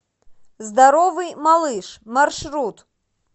здоровый малыш маршрут